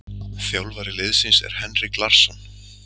Þjálfari liðsins er Henrik Larsson.